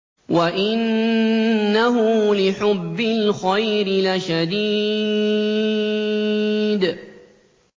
وَإِنَّهُ لِحُبِّ الْخَيْرِ لَشَدِيدٌ